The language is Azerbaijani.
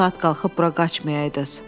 O saat qalxıb bura qaçmayıdıız.